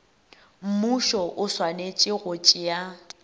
mmušo o swanetše go tšea